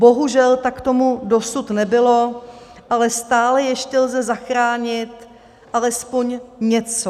Bohužel tak tomu dosud nebylo, ale stále ještě lze zachránit alespoň něco.